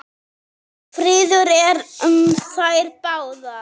Friður er um þær báðar.